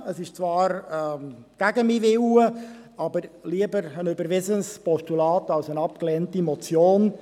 Dies ist zwar gegen meinen Willen, aber lieber ein überwiesenes Postulat als eine abgelehnte Motion.